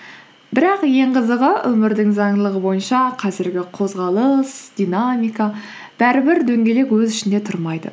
бірақ ең қызығы өмірдің заңдылығы бойынша қазіргі қозғалыс динамика бәрібір дөңгелек өз ішінде тұрмайды